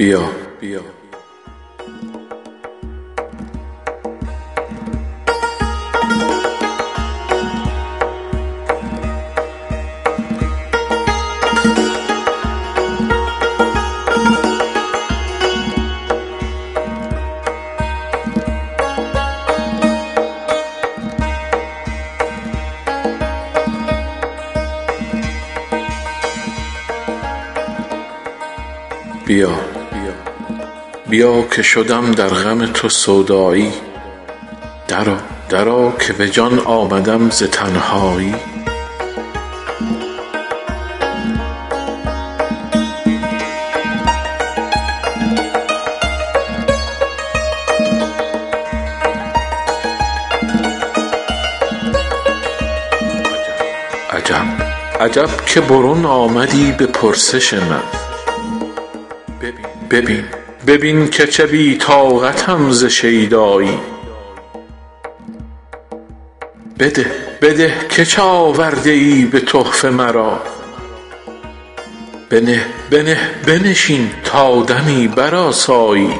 بیا بیا که شدم در غم تو سودایی درآ درآ که به جان آمدم ز تنهایی عجب عجب که برون آمدی به پرسش من ببین ببین که چه بی طاقتم ز شیدایی بده بده که چه آورده ای به تحفه مرا بنه بنه بنشین تا دمی برآسایی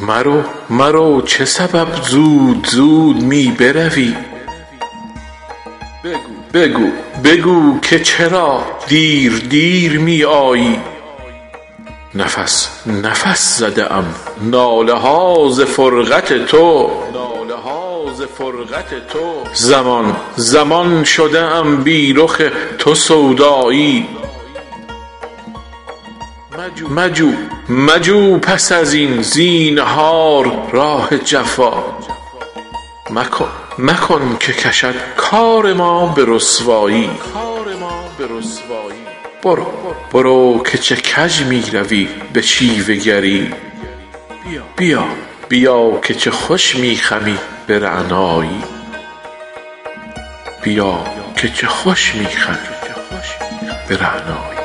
مرو مرو چه سبب زود زود می بروی بگو بگو که چرا دیر دیر می آیی نفس نفس زده ام ناله ها ز فرقت تو زمان زمان شده ام بی رخ تو سودایی مجو مجو پس از این زینهار راه جفا مکن مکن که کشد کار ما به رسوایی برو برو که چه کش می روی به شیوه گری بیا بیا که چه خوش می چمی به رعنایی